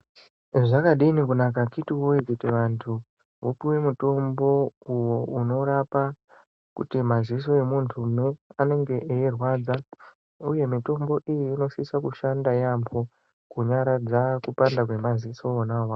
Zvakadini kunaka akiti woyee kuti vantu vapuwe mutombo uwo unorapa kuti maziso emuntu anenge eirwadza uye mitombo iyi inosisa kushanda yaamho kunyaradza kupanda kwemaziso wona awawo.